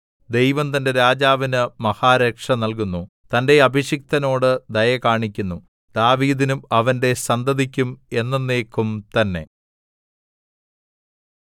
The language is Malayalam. ദൈവം തന്റെ രാജാവിന് മഹാരക്ഷ നല്കുന്നു തന്റെ അഭിഷിക്തനോട് ദയ കാണിക്കുന്നു ദാവീദിനും അവന്റെ സന്തതിക്കും എന്നെന്നേക്കും തന്നെ